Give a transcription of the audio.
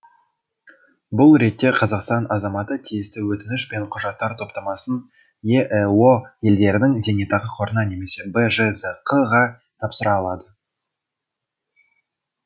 бұл ретте қазақстан азаматы тиісті өтініш пен құжаттар топтамасын еэо елдерінің зейнетақы қорына немесе бжзқ ға тапсыра алады